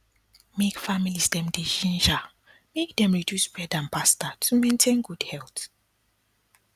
make families dem dey ginger make dem reduce bread and pasta to maintain good health